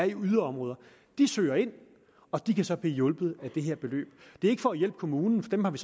i yderområder de søger ind og de kan så blive hjulpet med det her beløb det er ikke for at hjælpe kommunen for dem har vi